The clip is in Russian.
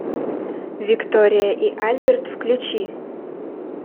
виктория и альберт включи